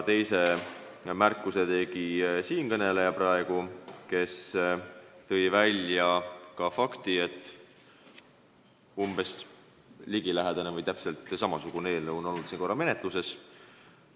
Teise märkuse tegi siinkõneleja, kes tõi välja ka fakti, et ligilähedane või täpselt samasugune eelnõu on olnud siin korra menetluses.